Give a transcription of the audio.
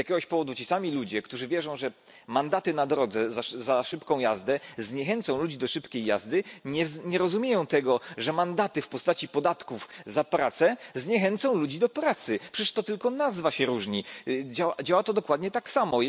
Z jakiegoś powodu ci sami ludzie, którzy wierzą, że mandaty na drodze za szybką jazdę zniechęcą ludzi do szybkiej jazdy, nie rozumieją tego, że mandaty w postaci podatków za pracę zniechęcą ludzi do pracy. Przecież to tylko nazwą się różni, a działa dokładnie tak samo.